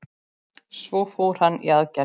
Svo fór hann í aðgerð.